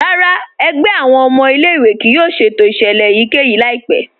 Rárá, ẹ̀gbẹ̀ awọn ọmọ ilẹ̀-ìwé kíì yóò ṣẹ̀tò iṣẹlẹ̀ èyíkẹ́yì laipẹ̀.